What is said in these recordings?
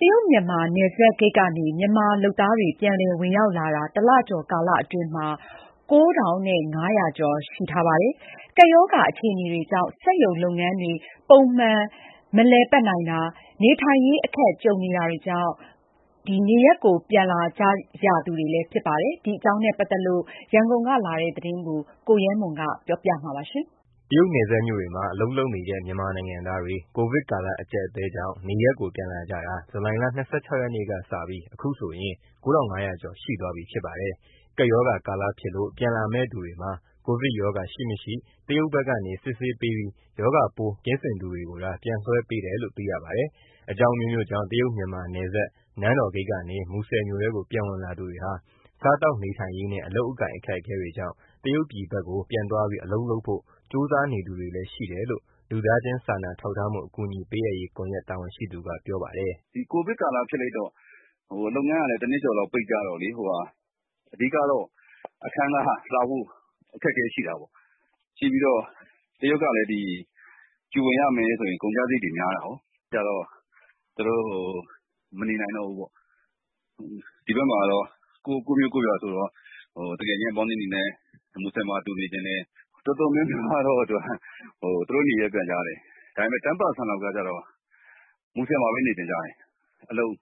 တရုတ် - မြန်မာ နယ်စပ်ဂိတ်ကနေ မြန်မာလုပ်သားတွေ ပြန်လည်ဝင်ရောက်လာတာ တလကျော်ကာလအတွင်းမှာ ၉,၅၀၀ ကျော် ရှိထားပါတယ်။ ကပ်ရောဂါအခြေအနေတွေကြောင့် စက်ရုံလုပ်ငန်းတွေ ပုံမှန်မလည်ပတ်နိုင်တာ၊ နေထိုင်ရေးအခက်ကြုံနေတာကြောင့် နေရပ်ကိုပြန်လာသူတွေ ဖြစ်ပါတယ်။ ဒီအကြောင်းနဲ့ပတ်သက်လို့ ရန်ကုန်ကလာတဲ့သတင်းကို ကိုရဲမွန် ပြောပြပေးမှာပါ။ တရုတ်နယ်စပ်မြို့တွေမှာ အလုပ်လုပ်နေတဲ့ မြန်မာနိုင်ငံသားတွေ ကိုဗစ်ကာလ အကျပ်အတည်းကြောင့် နေရပ်ကိုပြန်လာကြတာ ဇူလိုင်လ ၂၆ ရက်နေ့ကစပြီး ဒီကနေ့အထိဆို ၉,၅၀၀ ကျော် ရှိထားပါတယ်။ ကပ်ရောဂါကာလဖြစ်လို့ ပြန်လာမယ့်သူတွေမှာ ကိုဗစ်ရောဂါရှိ၊ မရှိ တရုတ်ဘက်ကနေ စစ်ဆေးပေးပြီး ရောဂါပိုးကင်းစင်သူတွေကိုသာ ပြန်လွှဲပေးတယ်လို့ သိရပါတယ်။ အကြောင်းအမျိုးမျိုးကြောင့် တရုတ်- မြန်မာ နယ်စပ် နန်းတော်ဂိတ်ကနေ မူဆယ်မြို့ထဲကို ပြန်ဝင်လာသူတွေဟာ စားသောက်နေထိုင်ရေးနဲ့ အလုပ်အကိုင်အခက်အခဲတွေကြောင့် တရုတ်ပြည်ဘက်ကို ပြန်သွားပြီး အလုပ်လုပ်နိုင်ဖို့ ကြိုးစားနေသူတွေလည်း ရှိတယ်လို့ လူသားချင်းစာနာထောက်ထားမှု အကူအညီပေးအပ်ရေးကွန်ရက် တာဝန်ရှိသူက ပြောပါတယ်။ "ကိုဗစ်ကာလဖြစ်လိုက်တော့ လုပ်ငန်းကလည်း တနှစ်ကျော်လောက် ပိတ်ကြတော့ အဓိကတော့ အခန်းငှားခ၊ စားဖို့ အခက်အခဲရှိတာပေါ့။ တရုတ်ကလည်း Quarantine ဝင်ရမယ်ဆိုရင် ကုန်ကျစရိတ်တွေ များတာကို။ အဲဒီအခါကျတော့ သူတို့ မနေနိုင်တော့ဘူးပေါ့။ ဒီဘက်မှာကတော့ ကိုယ့်မြို့ကိုယ့်ရွာဆိုတော့ သူငယ်ချင်း အပေါင်းအသင်းတွေနဲ့ မူဆယ်မှာ အတူနေချင်တယ်။ တော်တော်များများကတော့ သူတို့နေရပ်ပြန်ကြတယ်။ ဒါပေမယ့် ၁၀ ရာခိုင်နှုန်းလောက်ကတော့ မူဆယ်မှာပဲ နေချင်ကြတယ်။ အလုပ်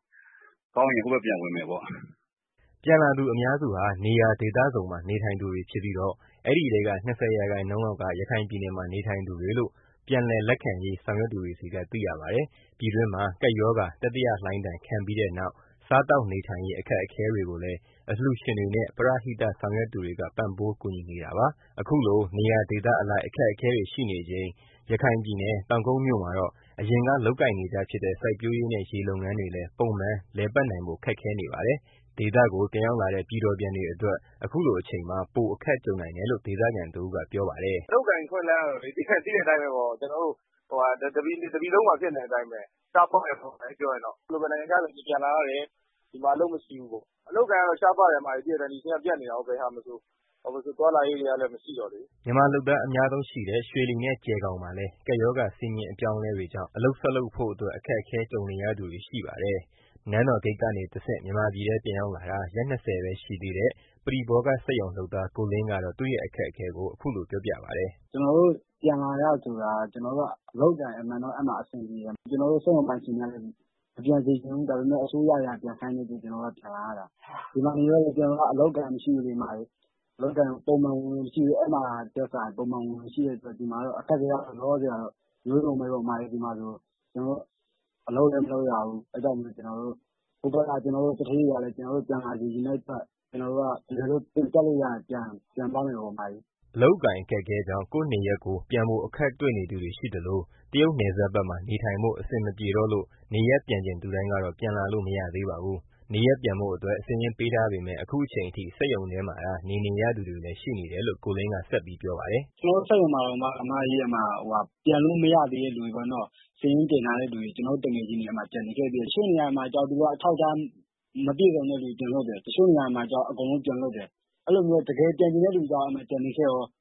ကောင်းရင် ဟိုဘက်ပြန်ဝင်မယ်ပေါ့။" ပြန်လာသူအများစုဟာ နေရာဒေသစုံမှာ နေထိုင်သူတွေဖြစ်ပြီးတော့ အဲဒီထဲက ၂၀ ရာခိုင်နှုန်းလောက်က ရခိုင်ပြည်နယ်မှာ နေထိုင်သူတွေလို့ ပြန်လည်လက်ခံရေး ဆောင်ရွက်သူတွေဆီက သိရပါတယ်။ ပြည်တွင်းမှာ ကပ်ရောဂါတတိယလှိုင်းဒဏ် ခံပြီးတဲ့နောက် စားသောက်နေထိုင်ရေး အခက်အခဲတွေကိုလည်း အလှူရှင်တွေနဲ့ ပရဟိတဆောင်ရွက်သူတွေက ပံ့ပိုးကူညီပေးနေတာပါ။ ဒီလို နေရာဒေသအလိုက် အခက်အခဲတွေရှိနေချိန် ရခိုင်ပြည်နယ်၊ တောင်ကုတ်မြို့မှာတော့ အရင်က လုပ်ကိုင်နေကြဖြစ်တဲ့ စိုက်ပျိုးရေးနဲ့ ရေလုပ်ငန်းတွေလည်း ပုံမှန်လည်ပတ်နိုင်ဖို့ ခက်ခဲနေပါတယ်။ ဒေသကို ပြန်ရောက်လာတဲ့ ပြည်တော်ပြန်တွေအတွက် အခုလိုအချိန်မှာ ပိုအခက်ကြုံနိုင်တယ်လို့ ဒေသခံတဦးက ပြောပါတယ်။ "အလုပ်အကိုင် အခွင့်အလမ်းကတော့လေ သိတဲ့အတိုင်းပဲပေါ့။ ကျနော်တို့ တပြည်လုံးမှာ ဖြစ်နေတဲ့အတိုင်းပဲ။ ရှားပါးတယ်ပေါ့ ပြောရရင်တော့။ တချို့ဆိုရင် နိုင်ငံခြားကနေ ဒီပြန်လာရတယ်၊ ဒီမှာကျ အလုပ်မရှိဘူး။ အလုပ်အကိုင်ကတော့ ရှားပါးတယ်။ ဒီအချိန်ကတော့ သိတဲ့အတိုင်းပဲ ဘယ်ဟာမဆို ပြတ်နေတော့ သွားလာရေးတွေကလည်း မရှိတော့လေ။" မြန်မာလုပ်သား အများဆုံးရှိတဲ့ ရွှေလီနဲ့ ကျယ်ဂေါင်မှာလည်း ကပ်ရောဂါစည်းမျဉ်း အပြောင်းအလဲတွေကြောင့် အလုပ်ဆက်လုပ်ဖို့အတွက် အခက်ကြုံရသူတွေ ရှိနေပါတယ်။ နန်းတော်ဂိတ်ကနေတဆင့် မြန်မာပြည်ထဲပြန်ရောက်လာတာ ရက် ၂၀ ပဲရှိသေးတဲ့ ပရိဘောဂစက်ရုံလုပ်သား ကိုလင်းကတော့ သူ့ရဲ့အခက်အခဲကို အခုလိုပြောလာပါတယ်။ "ကျနော်တို့ပြန်လာရတယ်ဆိုတာက အဲဒီမှာ အလုပ်အကိုင်က အမှန်တော့ အဆင်ပြေတယ်။ ကျနော်တို့ စက်ရုံပိုင်ရှင်တွေကလည်း မပြန်စေချင်ဘူး။ ဒါပေမယ့် အစိုးရက ပြန်ခိုင်းတဲ့အတွက် ကျနော်တို့ပြန်လာရတာ။ ဒီမှာနေတော့လည်း အလုပ်အကိုင်ကမရှိဘူး။ ပုံမှန်ဝင်ငွေလည်း မရှိတော့ အဲမှာထက်စာရင် လောလောဆယ်ကတော့ အမျိုးစုံပဲပေါ့။ အလုပ်လည်း မလုပ်ရဘူး။ အဲဒါကြောင့်မို့ ဟိုဘက်က သူဌေးတွေကလည်း ပြန်လာစေချင်တဲ့အတွက် တကယ်လို့ ပြန်ထွက်လို့ရရင် ပြန်သွားမယ်ပေါ့။" အလုပ်အကိုင်အခက်အခဲကြောင့် ကိုယ့်နေရပ်ကို ပြန်ဖို့အခက်တွေ့နေသူတွေရှိသလို တရုတ်နယ်စပ်ဘက်မှာ နေထိုင်ဖို့ အဆင်မပြေတော့လို့ နေရပ်ပြန်ချင်သူတိုင်း ကတော့ ပြန်လာလို့ မရသေးပါဘူး။ နေရပ်ပြန်ဖို့အတွက် စာရင်းပေးထားပေမယ့် အခုအချိန်အထိ စက်ရုံထဲမှာသာ နေနေရသူတွေလည်း ရှိနေတယ်လို့ ကိုလင်းက ဆက်ပြောပါတယ်။ "ကျနော်တို့စက်ရုံမှာတောင်မှ ပြန်လို့မရသေးတဲ့ စာရင်းတင်ထားတဲ့သူတွေ အဲဒီမှာ ကျန်နေခဲ့သေးတယ်။ တချို့နေရာတွေမှာကျတော့ သူတို့က အထောက်အထားမပြည့်စုံသူတွေကို ပြန်လွှတ်တယ်။ တချို့နေရာတွေမှာကျတော့ အကုန်လုံးပြန်လွှတ်တယ်။ အဲလိုမျိုး တကယ်ပြန်ချင်တဲ့သူကျ အဲဒီမှာ ကျန်နေခဲ့ရော။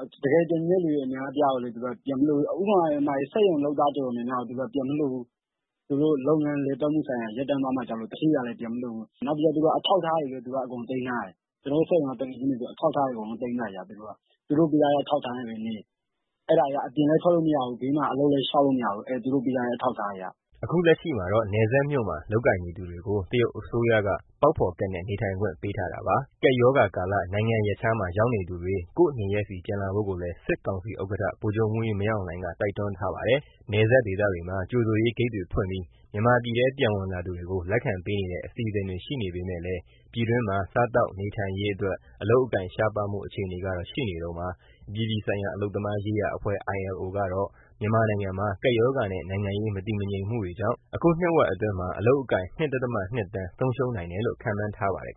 ဥပမာ စက်ရုံလုပ်သားတော်တော်များများကို သူတို့က ပြန်မလွှတ်ဘူး။ သူတို့လုပ်ငန်းလည်ပတ်မှုတွေ ရပ်တန့်သွားမှာစိုးလို့ သူဌေးတွေကလည်း ပြန်မလွှတ်ဘူး။ နောက်ပြီးတော့ အထောက်အထားတွေကိုလည်း သူတို့က အကုန်လုံးသိမ်းထားတယ်။ သူတို့ပေးထားတဲ့ အထောက်အထားနဲ့ပဲ နေပေါ့။ အဲဒါတွေက အပြင်လည်းထွက်လို့မရဘူး။ ဘေးကအလုပ်တွေလည်း လျှောက်လို့မရဘူး။" အခုလက်ရှိမှာတော့ နယ်စပ်မြို့မှာ လုပ်ကိုင်နေသူတွေကို တရုတ်အစိုးရက ပေါက်ဖော်ကဒ်နဲ့ နေထိုင်ခွင့်ပေးထားတာပါ။ ကပ်ရောဂါကာလ နိုင်ငံရပ်ခြားမှာ ရောက်နေသူတွေ ကိုယ့်နေရပ်ဆီ ပြန်လာဖို့ကိုလည်း စစ်ကောင်စီဥက္ကဋ္ဌ ဗိုလ်ချုပ်မှူးကြီး မင်းအောင်လှိုင်က တိုက်တွန်းထားပါတယ်။ နယ်စပ်ဒေသတွေမှာ ကြိုဆိုရေးဂိတ်တွေဖွင့်ပြီး မြန်မာပြည်ထဲပြန်ဝင်လာသူတွေကို လက်ခံပေးနေတဲ့ အစီအစဉ်တွေရှိပေမယ့်လည်း ပြည်တွင်းမှာ စားသောက်နေထိုင်ရေးအတွက် အလုပ်အကိုင် ရှားပါးမှုအခြေအနေကတော့ ရှိနေတုန်းပါ။ အပြည်ပြည်ဆိုင်ရာ အလုပ်သမားရေးရာအဖွဲ့ ILO ကတော့ မြန်မာနိုင်ငံမှာ ကပ်ရောဂါနဲ့ နိုင်ငံရေးမတည်ငြိမ်မှုတွေကြောင့် အခုနှစ်ဝက်အတွင်းမှာ အလုပ်အကိုင် ၂ ဒသမ ၂ သန်း ဆုံးရှုံးနိုင်တယ်လို့ ခန့်မှန်းထားပါတယ်